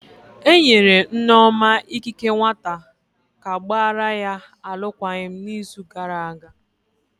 Enyere Nneoma ikike nwata ka gbara ya alụkwaghịm n'izu gara aga.